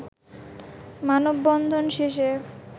মানববন্ধন শেষে